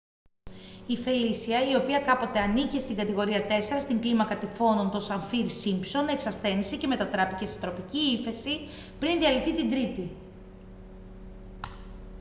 η φελίσια η οποία κάποτε ανήκε στην κατηγορία 4 στην κλίμακα τυφώνων των σαφίρ-σίμπσον εξασθένισε και μετατράπηκε σε τροπική ύφεση πριν διαλυθεί την τρίτη